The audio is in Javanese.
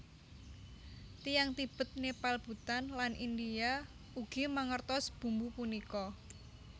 Tiyang Tibet Nepal Bhutan lan India ugi mangertos bumbu punika